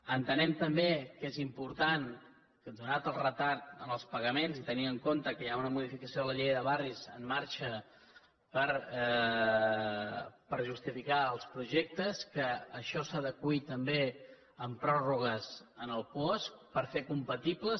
entenem també que és important donat el retard en els pagaments i tenint en compte que hi ha una modificació de la llei de barris en marxa per justificar els projectes que això s’adeqüi també amb pròrrogues en el puosc per fer compatibles